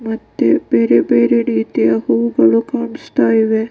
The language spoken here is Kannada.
ಮತ್ತೆ ಬೇರೆ ಬೇರೆ ರೀತಿಯ ಹೂಗಳು ಕಾಣಿಸ್ತಾ ಇದೆ .